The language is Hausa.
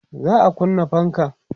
za'a kunna fankan